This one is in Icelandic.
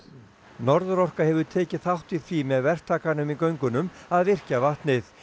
Norðurorka hefur tekið þátt í því með verktakanum í göngunum að virkja vatnið